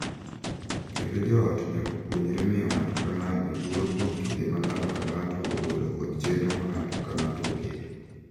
Kendo jo ot nyaka puonjre miyo ng’ato ka ng’ato luor kuom kinde ma ng’ato ka ng’ato ogolo kod chenro ma ng’ato ka ng’ato oketo.